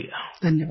प्रेम जी धन्यवाद